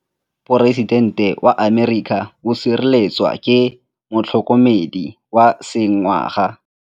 Poresitêntê wa Amerika o sireletswa ke motlhokomedi wa sengaga.